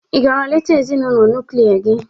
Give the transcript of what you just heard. Ị gara leta ezinụlọ nuklia gị?